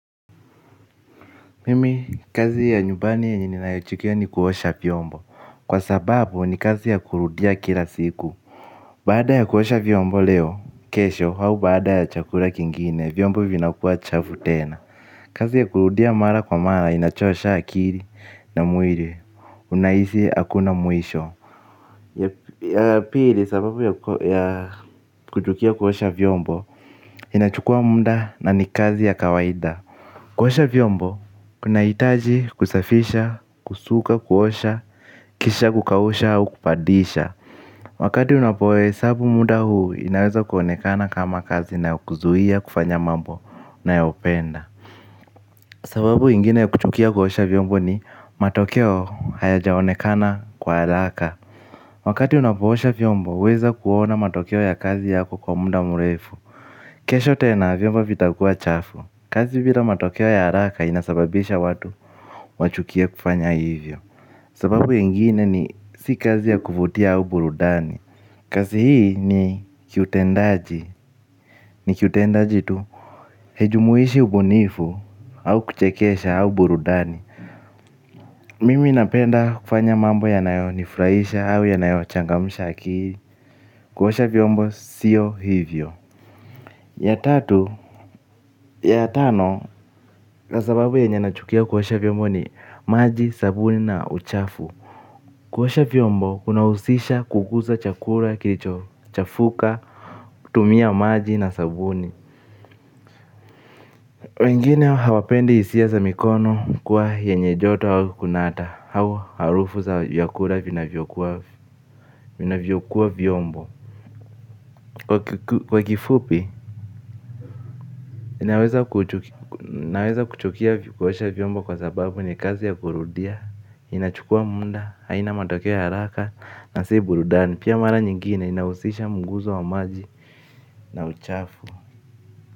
Mimi kazi ya nyumbani yenye ninaichukia ni kuosha vyombo kwa sababu ni kazi ya kurudia kila siku baada ya kuosha vyombo leo kesho au baada ya chakula kingine vyombo vinakuwa chafu tena kazi ya kurudia mara kwa mara inachosha akili na mwili unahisi hakuna mwisho ya pili sababu ya kuchukia kuosha vyombo inachukua muda na ni kazi ya kawaida kuosha vyombo, kunahitaji kusafisha, kusuka, kuosha, kisha kukausha au kupandisha wakati unapohesabu muda huu inaweza kuonekana kama kazi inayokuzuia kufanya mambo unayopenda sababu ingine ya kuchukia kuosha vyombo ni matokeo hayajaonekana kwa haraka wakati unapoosha vyombo huweza kuona matokeo ya kazi yako kwa muda mrefu kesho tena vyombo vitakua chafu kazi bila matokeo ya haraka inasababisha watu wachukie kufanya hivyo sababu ingine ni si kazi ya kuvutia au burudani kazi hii ni kiutendaji ni kiutendaji tu haijumuishi ubunifu au kuchekesha au burudani mimi napenda kufanya mambo ya nayo nifurahisha au yanayo changamusha akili kuosha vyombo sio hivyo ya tatu ya tano kwa sababu yenye na chukia kuosha vyombo ni maji sabuni na uchafu kuosha vyombo kunahusisha kuguza chakula kilicho chafuka kutumia maji na sabuni wengine hawapendi hisia za mikono kuwa yenye joto au kunata au harufu za vyakula vinavyokuwa vyombo kwa kifupi naweza kuchukia kuosha vyombo kwa sababu ni kazi ya kurudia, inachukua muda, haina matokeo ya haraka na si burudani. Pia mara nyingine inahusisha mguzo wa maji na uchafu.